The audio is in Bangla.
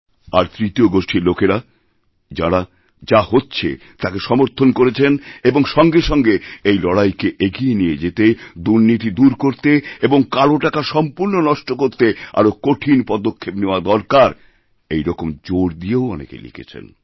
আর তৃতীয় গোষ্ঠীর লোকেরা যাঁরা যাহচ্ছে তাকে সমর্থন করেছেন এবং সঙ্গে সঙ্গে এই লড়াইকে এগিয়ে নিয়ে যেতে দুর্নীতিদূর করতে এবং কালো টাকা সম্পূর্ণ নষ্ট করতে আরও কঠিন পদক্ষেপ নেওয়া দরকার এরকমজোর দিয়েও অনেকে লিখেছেন